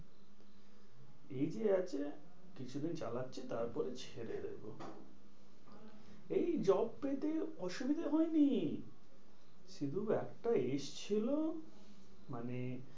ঠিকই আছে কিছু দিন চালাচ্ছি তারপরে ছেড়ে দেব। এই job পেতে অসুবিধা হয়নি। সুযোগ একটা এসেছিলো মানে